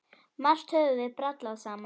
Margt höfum við brallað saman.